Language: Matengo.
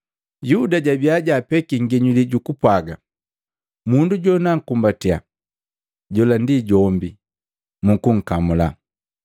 Yuda jabiya jaapeki nginyuli jukupwaga, “Mundu jonukukumbatiya jola ndi jombi, mukunkamula.”